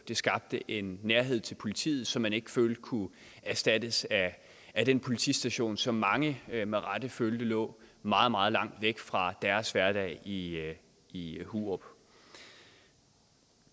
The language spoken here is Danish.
det skabte en nærhed til politiet som man ikke følte kunne erstattes af den politistation som mange med rette følte lå meget meget langt væk fra deres hverdag i i hurup